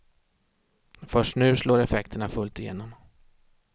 Först nu slår effekterna fullt igenom.